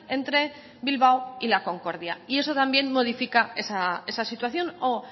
entre bilbao y la concordia y eso también modifica esa situación o